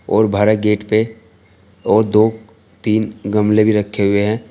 और बाहर एक गेट पे और दो तीन गमले भी रखे हुए हैं।